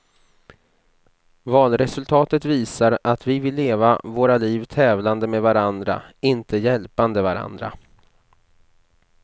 Valresultatet visar att vi vill leva våra liv tävlande med varandra, inte hjälpande varandra.